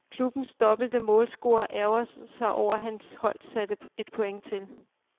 Klubbens dobbelte målscorer ærgrede sig over hans hold satte et point til.